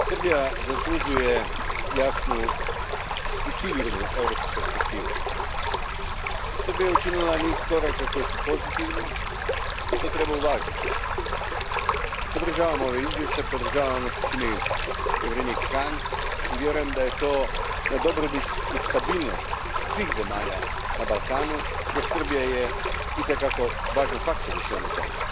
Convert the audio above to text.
Gospodine predsjedniče, Srbija zaslužuje jasnu i sigurnu europsku perspektivu. Srbija je učinila niz koraka koji su pozitivni i to treba uvažiti. Podržavam ovaj izvještaj, podržavam ono što čini povjerenik Hahn i vjerujem da je to na dobrobit i stabilnost svih zemalja na Balkanu, jer Srbija je itekako važan faktor u svemu tome.